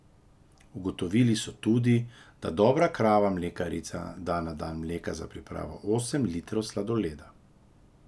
Ugotovili so tudi, da dobra krava mlekarica da na dan mleka za pripravo osem litrov sladoleda.